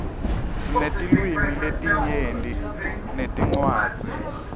sinetilwimi letinyenti netincwadzi